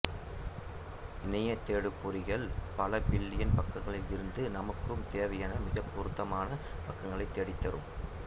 இணைய தேடு பொறிகள் பல பில்லியன் பக்கங்களில் இருந்து நமக்குத் தேவையான மிகப் பொருத்தமான பக்கங்களைத் தேடித் தரும்